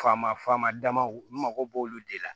Faama faama dama n mago b'olu de la